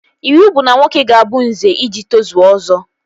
Iwu bụ na nwoke ga-abụ Nze iji tozuo Ọzọ